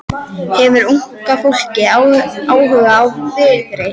Hefur unga fólkið áhuga á Viðreisn?